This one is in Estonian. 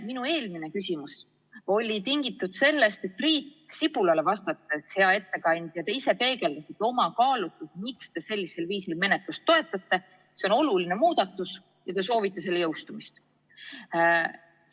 Minu eelmine küsimus oli tingitud sellest, et Priit Sibulale vastates, hea ettekandja, te ise peegeldasite oma kaalutlusi, miks te sellist menetlust toetate: see on oluline muudatus ja te soovite selle jõustumist.